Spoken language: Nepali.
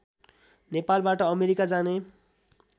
नेपालबाट अमेरिका जाने